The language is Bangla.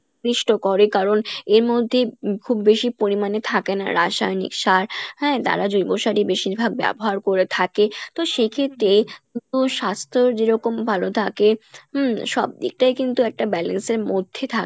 আকৃষ্ট করে কারন এর মধ্যে খুব বেশি পরিমানে থাকে না রাসায়নিক সার হ্যাঁ তারা জৈব সারই বেশিরভাগ ব্যাবহার করে থাকে তো সেইক্ষেত্রে স্বাস্থ্য যেরকম ভালো থাকে, হম সব দিকটাই কিন্তু একটা balance এর মধ্যে